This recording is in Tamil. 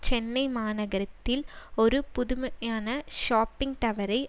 சென்னை மாநகரத்தில் ஒரு புதுமையான ஷாப்பிங் டவரை